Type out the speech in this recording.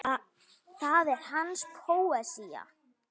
Það er hans póesía.